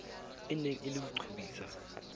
eneng e le ho qobisa